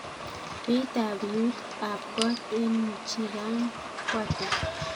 Beit ab biut ab kot en michigan ko ata